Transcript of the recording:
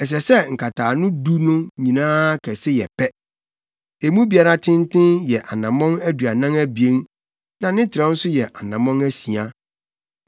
Ɛsɛ sɛ nkataano du no nyinaa kɛse yɛ pɛ. Emu biara tenten yɛ anammɔn aduanan abien na ne trɛw nso yɛ anammɔn asia.